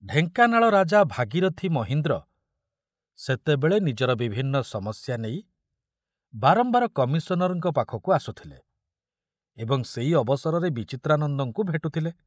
ଢେଙ୍କାନାଳ ରାଜା ଭାଗୀରଥ ମହୀନ୍ଦ୍ର ସେତେବେଳେ ନିଜର ବିଭିନ୍ନ ସମସ୍ୟା ନେଇ ବାରମ୍ବାର କମିଶନରଙ୍କ ପାଖକୁ ଆସୁଥିଲେ ଏବଂ ସେଇ ଅବସରରେ ବିଚିତ୍ରାନନ୍ଦଙ୍କୁ ଭେଟୁଥିଲେ।